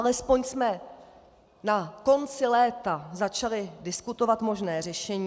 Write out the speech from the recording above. Alespoň jsme na konci léta začali diskutovat možné řešení.